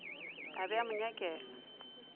a be a mo nyakela